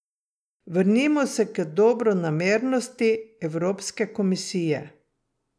Vrnimo se k dobronamernosti evropske komisije.